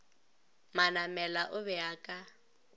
manamela o be a ka